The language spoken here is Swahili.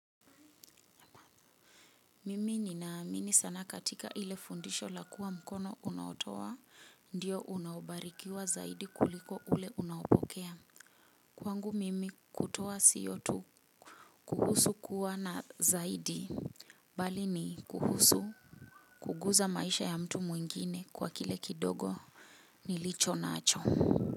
Mimi ninaamini sana katika ile fundisho la kuwa mkono unaotoa ndiyo unaobarikiwa zaidi kuliko ule unaopokea. Kwangu mimi kutoa siyo tu kuhusu kuwa na zaidi bali ni kuhusu kuguza maisha ya mtu mwingine kwa kile kidogo nilicho nacho.